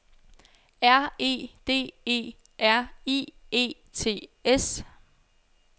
R E D E R I E T S